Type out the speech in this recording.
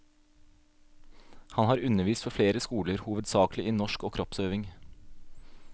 Han har undervist ved flere skoler, hovedsakelig i norsk og kroppsøving.